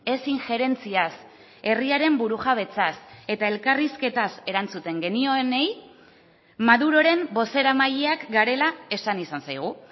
ez injerentziaz herriaren burujabetzaz eta elkarrizketaz erantzuten genioenei maduroren bozeramaileak garela esan izan zaigu